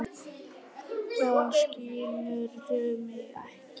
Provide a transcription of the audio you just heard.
Hvað, skilurðu mig ekki?